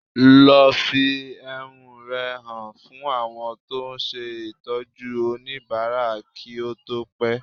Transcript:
Lọ fi ehúnú rẹ hàn fún àwọn tó ń ṣe Ìtọ́jú oníbàárà kí ó tó pẹ́